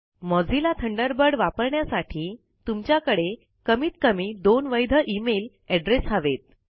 Mozilla Thunderbird वापरण्यासाठी तुमच्याकडे कमीत कमी दोन वैध इमेल एड्रेस हवेत